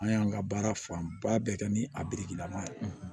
An y'an ka baara fanba bɛɛ kɛ ni a lama ye